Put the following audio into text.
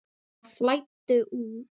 Bara flæddu út.